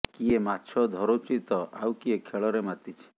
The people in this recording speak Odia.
କିଏ ମାଛ ଧରୁଛି ତ ଆଉ କିଏ ଖେଳରେ ମାତିଛି